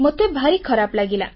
ମୋତେ ଭାରି ଖରାପ ଲାଗିଲା